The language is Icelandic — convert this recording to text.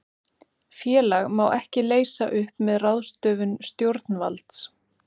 Félag má ekki leysa upp með ráðstöfun stjórnvalds.